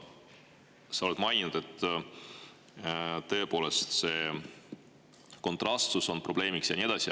Sa oled maininud, et tõepoolest, kontrastsus on probleem ja nii edasi.